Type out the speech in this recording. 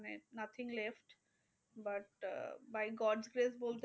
মানে nothing left but ah by god save বলতে পারেন।